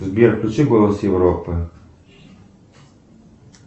сбер включи голос европы